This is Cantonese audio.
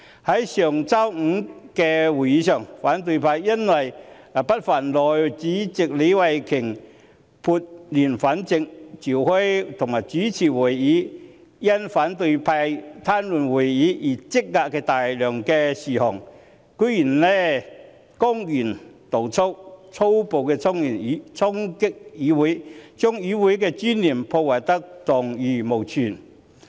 在上周五的會議上，反對派由於不忿內務委員會主席李慧琼議員撥亂反正，召開及主持會議處理因反對派癱瘓會議而積壓的大量事項，居然公然動粗，粗暴衝擊議會，將議會的尊嚴破壞得蕩然無存。